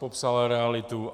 Popsal realitu.